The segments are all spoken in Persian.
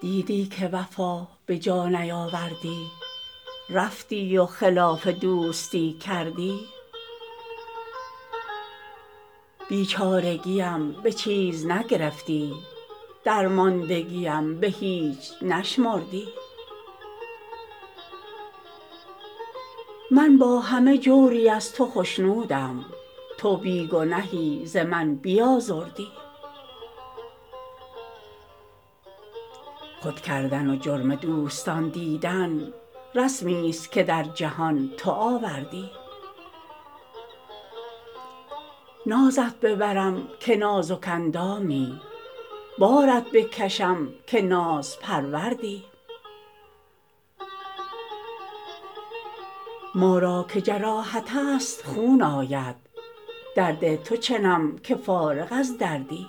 دیدی که وفا به جا نیاوردی رفتی و خلاف دوستی کردی بیچارگیم به چیز نگرفتی درماندگیم به هیچ نشمردی من با همه جوری از تو خشنودم تو بی گنهی ز من بیازردی خود کردن و جرم دوستان دیدن رسمیست که در جهان تو آوردی نازت ببرم که نازک اندامی بارت بکشم که نازپروردی ما را که جراحت است خون آید درد تو چنم که فارغ از دردی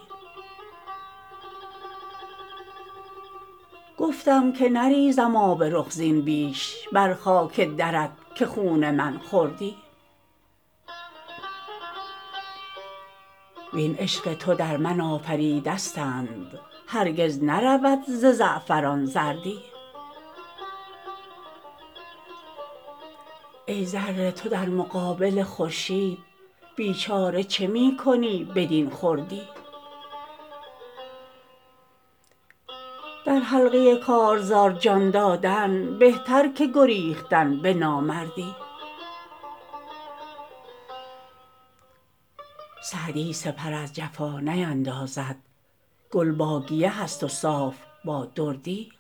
گفتم که نریزم آب رخ زین بیش بر خاک درت که خون من خوردی وین عشق تو در من آفریدستند هرگز نرود ز زعفران زردی ای ذره تو در مقابل خورشید بیچاره چه می کنی بدین خردی در حلقه کارزار جان دادن بهتر که گریختن به نامردی سعدی سپر از جفا نیندازد گل با گیه است و صاف با دردی